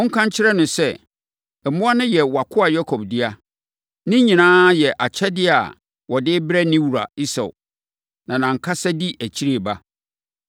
monka nkyerɛ no sɛ, ‘Mmoa no yɛ wʼakoa Yakob dea. Ne nyinaa yɛ akyɛdeɛ a ɔde rebrɛ ne wura Esau, na nʼankasa di akyire reba.’ ”